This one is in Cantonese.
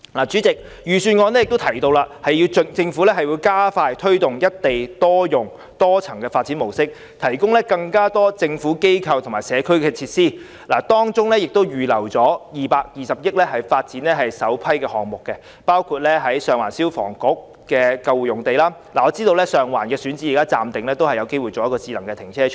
主席，預算案提到政府會加快推動"一地多用"的多層發展模式，以提供更多政府機構和社區設施，當中預留了220億元發展首批項目，包括在上環消防局的救護站用地。我知道上環的選址現時暫定發展為智能停車場。